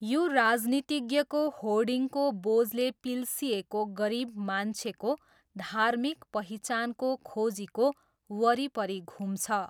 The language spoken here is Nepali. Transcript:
यो राजनीतिज्ञको होर्डिङको बोझले पिल्सिएको गरिब मान्छेको धार्मिक पहिचानको खोजीको वरिपरि घुम्छ।